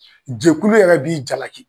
Jɛkulu yɛrɛ b'i jalaki